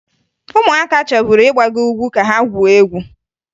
Ụmụaka chọburu ịgbago ugwu ka ha gwuo egwu